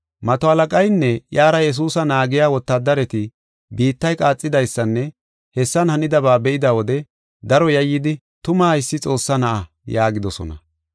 Mato halaqaynne iyara Yesuusa naagiya wotaadareti biittay qaaxidaysanne hessan hanidaba be7ida wode daro yayyidi “Tuma haysi Xoossaa Na7aa” yaagidosona.